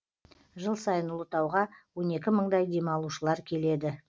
жыл сайын ұлытауға он екі мыңдай демалушылар келеді